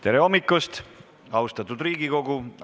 Tere hommikust, austatud Riigikogu!